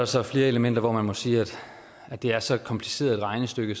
så flere elementer hvor man må sige at det er så kompliceret et regnestykke